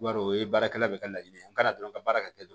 I b'a dɔn o ye baarakɛla bɛɛ ka laɲini ye an ka dɔrɔn ka baara kɛ